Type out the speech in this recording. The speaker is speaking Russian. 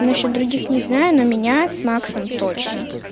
насчёт других не знаю но меня с максом точно